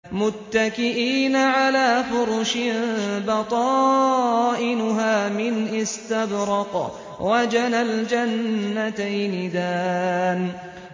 مُتَّكِئِينَ عَلَىٰ فُرُشٍ بَطَائِنُهَا مِنْ إِسْتَبْرَقٍ ۚ وَجَنَى الْجَنَّتَيْنِ دَانٍ